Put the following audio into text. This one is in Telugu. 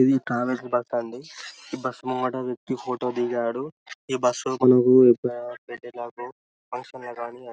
ఇది అండీ ఈ బస్సు ముంగట వ్య్కతి ఫోటో దిగాడు ఈ బసు మనకు ఫంక్షన్ లా గని